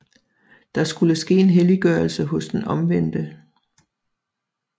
Der skulle ske en helliggørelse hos den omvendte